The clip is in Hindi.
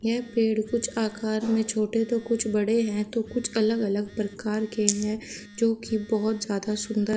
यह पेड़ कुछ आकार में छोटे तो कुछ बड़े हैं तो कुछ अलग अलग प्रकार के हैं जो की बहोत ज्यादा सुंदर--